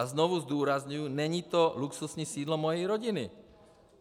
A znovu zdůrazňuji, není to luxusní sídlo mojí rodiny.